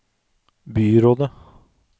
byrådet